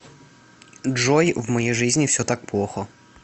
джой в моей жизни все так плохо